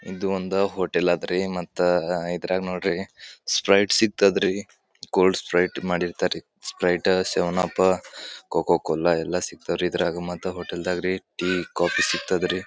ಇದು ಒಂದ್ ಹೋಟೆಲ್ ಐತ್ರಿ ಮತ್ತೆ ಇದ್ರಾಗ ನೋಡ್ರಿ ಸ್ಪ್ರೈಟ್ ಸಿಗ್ತಾತ್ ರೀ ಗೋಲ್ಡ್ ಸ್ಪ್ರೈಟ್ ಮಾಡಿರ್ತರಿ ಸ್ಪ್ರೈಟ್ ಸೆವೆನ್ಪ್ ಕೊಕೊಕೋಲಾ ಎಲ್ಲ ಸಿಗ್ತವೆ ರೀ ಮತ್ತೆ ಇದ್ರಾಗ ಮತ್ತೆ ಹೋಟೆಲ್ದಗ ರೆ ಟೀ ಕಾಫಿ ಸಿಕ್ತತ ರೀ.